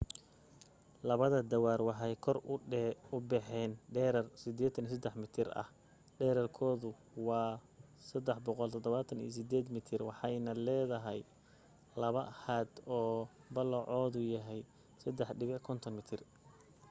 labada taawar waxay kor u baxeen dherer 83 mitir ah dhererkeeduna waa 378 mitir waxayna leedahay laba haad oo ballacoodu yahay 3.50 mitir